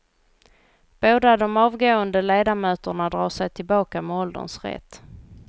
Båda de avgående ledamöterna drar sig tillbaka med ålderns rätt.